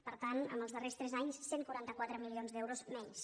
per tant en els darrers tres anys cent i quaranta quatre milions d’euros menys